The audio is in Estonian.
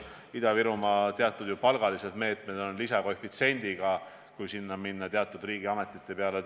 Ida-Virumaal rakendatakse ju teatud palgameetmeid, mille korral kasutatakse mõningates riigiametites tööleasumise puhul lisakoefitsienti.